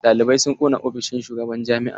Ɗalibai sun ƙona ofishin shugaban jami'a.